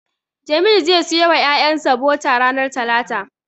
Jamil zai siyo wa ƴaƴansa bota ranar talata.